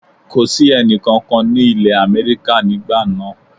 Kò sí ẹni kankan ní ìlé Amẹ́ríkà nígbà náà